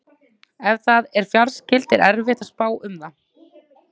Ef það er fjarskylt er erfitt að spá um það.